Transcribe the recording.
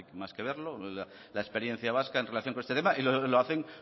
más que ver la experiencia vasca en relación con este tema y lo hacen